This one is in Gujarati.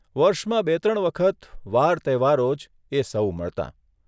વર્ષમાં બે ત્રણ વખત વાર તહેવારો જ એ સહુ મળતાં.